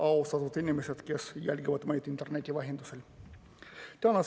Austatud inimesed, kes jälgivad meid interneti vahendusel!